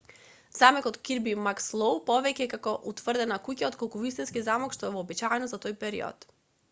замокот кирби макслоу повеќе е како утврдена куќа отколку вистински замок што е вообичаено за тој период